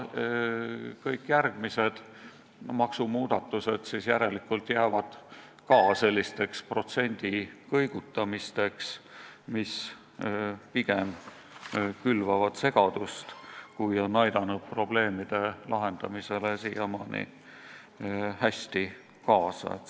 Kõik järgmised maksumuudatused jäävad järelikult ka sellisteks protsendi kõigutamisteks, mis on pigem külvanud segadust, kui on probleemide lahendamisele siiamaani hästi kaasa aidanud.